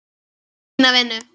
Fína vinnu.